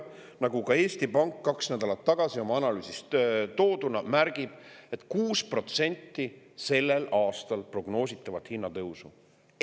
Nagu Eesti Pank oma kaks nädalat tagasi toodud analüüsis märgib, sellel aastal prognoositakse hinnatõusu 6%.